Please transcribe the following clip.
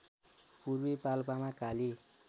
पूर्वी पाल्पामा काली